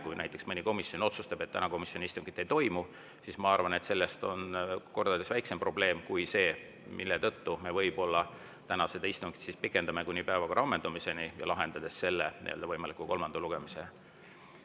Kui näiteks mõni komisjon otsustab, et täna komisjoni istungit ei toimu, siis ma arvan, et see on kordades väiksem probleem kui see, mille tõttu me võib-olla täna seda istungit pikendame kuni päevakorra ammendumiseni, lahendades selle võimaliku kolmanda lugemise.